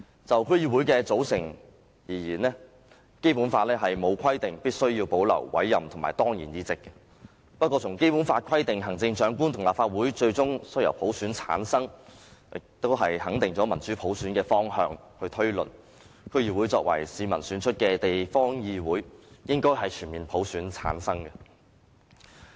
就區議會的組成而言，《基本法》沒有規定必須要保留委任和當然議席，不過，《基本法》規定行政長官和立法會最終須由普選產生，肯定了民主普選的方向，以此推論，區議會作為市民選出的地方議會，應該全面由普選產生。